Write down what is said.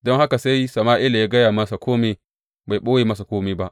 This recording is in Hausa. Don haka sai Sama’ila ya gaya masa kome bai ɓoye masa kome ba.